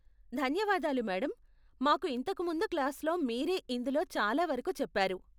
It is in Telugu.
ధన్యవాదాలు మేడం, మాకు ఇంతకు ముందు క్లాస్లో మీరే ఇందులో చాలా వరకు చెప్పారు.